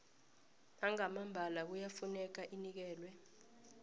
nangambala kuyafuneka inikelwe